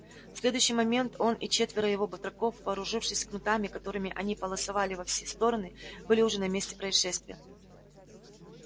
в следующий момент он и четверо его батраков вооружившись кнутами которыми они полосовали во все стороны были уже на месте происшествия